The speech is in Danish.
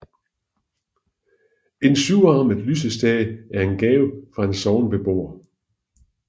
En syvarmet lysestage er en gave fra en sognebeboer